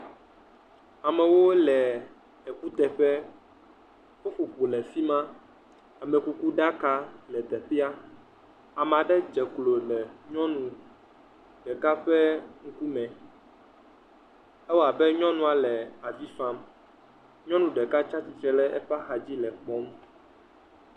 Amewo le ekuteƒe. Ƒuƒoƒo le efi ma. Amekukuɖaka le teƒea. Ame aɖe dze lo le nyɔnu ɖeka ƒe ŋkume. Ewɔ abe nyɔnua le vi fam. Nyɔnu ɖeka tsi atsitre ɖe eƒe axadzi le kpɔm.